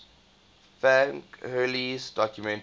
frank hurley's documentary